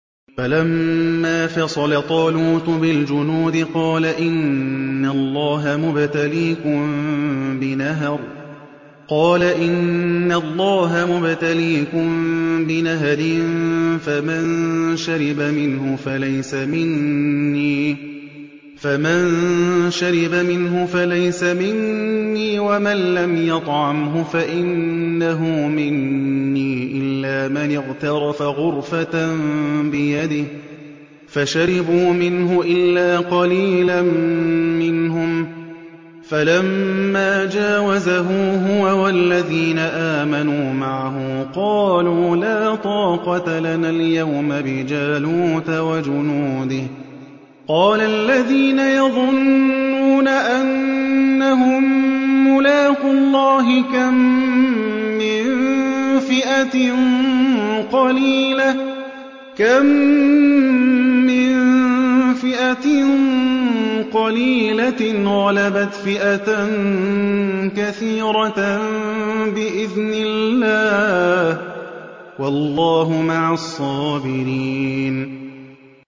فَلَمَّا فَصَلَ طَالُوتُ بِالْجُنُودِ قَالَ إِنَّ اللَّهَ مُبْتَلِيكُم بِنَهَرٍ فَمَن شَرِبَ مِنْهُ فَلَيْسَ مِنِّي وَمَن لَّمْ يَطْعَمْهُ فَإِنَّهُ مِنِّي إِلَّا مَنِ اغْتَرَفَ غُرْفَةً بِيَدِهِ ۚ فَشَرِبُوا مِنْهُ إِلَّا قَلِيلًا مِّنْهُمْ ۚ فَلَمَّا جَاوَزَهُ هُوَ وَالَّذِينَ آمَنُوا مَعَهُ قَالُوا لَا طَاقَةَ لَنَا الْيَوْمَ بِجَالُوتَ وَجُنُودِهِ ۚ قَالَ الَّذِينَ يَظُنُّونَ أَنَّهُم مُّلَاقُو اللَّهِ كَم مِّن فِئَةٍ قَلِيلَةٍ غَلَبَتْ فِئَةً كَثِيرَةً بِإِذْنِ اللَّهِ ۗ وَاللَّهُ مَعَ الصَّابِرِينَ